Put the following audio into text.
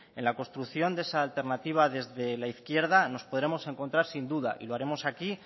en la construcción de esa alternativa desde la izquierda nos podemos encontramos sin duda y lo haremos aquí